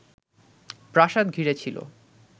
প্রাসাদ ঘিরে ছিল